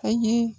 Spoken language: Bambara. A ye